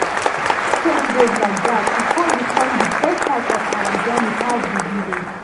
as we just change road like dat e com become di best part of our journey pass di village.